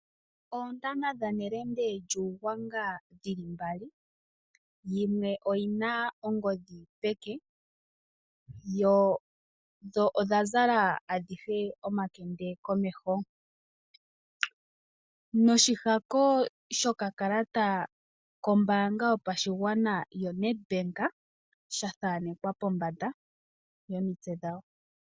Oontana dhaNelende lyUugwanga dhi li mbali, yimwe oyi na ongodhi peke, dho odha zala adhihe omakende komeho. Noshihako shokakalata kombaanga yopashigwana yaNedbank sha thaanekwa pombanda yomitse dhawo.